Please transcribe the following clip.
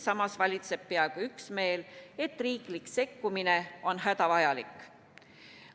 Samas valitseb peaaegu üksmeel, et riigi sekkumine on hädavajalik.